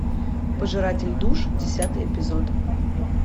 пожиратель душ десятый эпизод